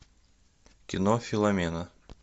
кино филомена